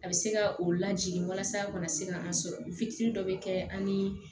A bɛ se ka o lajigin walasa a kana se ka an sɔrɔ dɔ bɛ kɛ an ni